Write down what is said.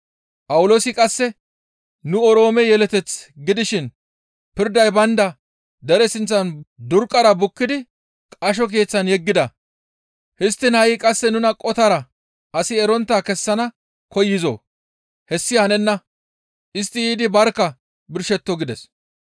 Phawuloosi qasse, «Nu Oroome yeleteth gidishin pirday baynda dere sinththan durqqara bukkidi qasho keeththan yeggida; histtiin ha7i qasse nuna qotara asi erontta kessana koyizoo? Hessi hanenna; istti yiidi barkka birshetto!» gides.